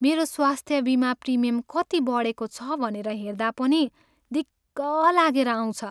मेरो स्वास्थ्य बिमा प्रिमियम कति बढेको छ भनेर हेर्दा पनि दिक्क लागेर आउँछ।